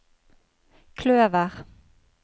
kløver